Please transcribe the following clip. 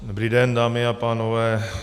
Dobrý den, dámy a pánové.